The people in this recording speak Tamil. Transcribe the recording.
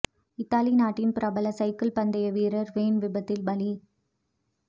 இத்தாலி நாட்டின் பிரபல சைக்கிள் பந்தய வீரர் வேன் விபத்தில் பலி